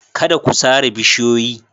Kada ku sare bishiyoyi.